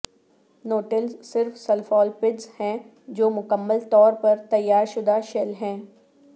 nautilus صرف سلفالپڈس ہیں جو مکمل طور پر تیار شدہ شیل ہے